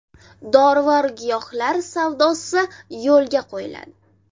Dorivor giyohlar savdosi yo‘lga qo‘yiladi.